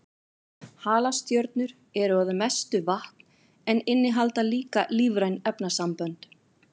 Halastjörnur eru að mestu vatn en innihalda líka lífræn efnasambönd.